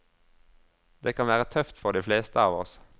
Det kan være tøft for de fleste av oss.